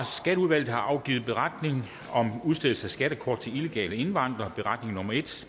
skatteudvalget har afgivet beretning om udstedelse af skattekort til illegale indvandrere